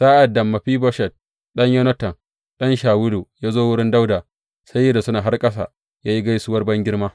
Sa’ad da Mefiboshet ɗan Yonatan, ɗan Shawulu, ya zo wurin Dawuda, sai ya rusuna har ƙasa ya yi gaisuwar bangirma.